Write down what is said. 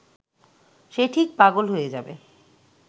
সে ঠিক পাগল হয়ে যাবে